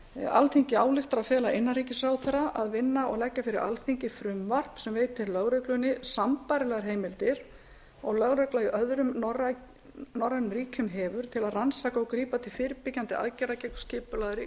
alþingi ályktar að fela innanríkisráðherra að vinna og leggja fyrir alþingi frumvarp sem veiti lögreglunni sambærilegar heimildir og lögregla í öðrum norrænum ríkjum hefur til að rannsaka og grípa til fyrirbyggjandi aðgerða gegn skipulagðri